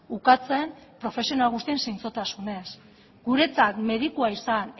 ukatzen profesional guztien zintzotasunez guretzat medikua izan